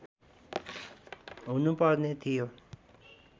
हुनु पर्ने थियो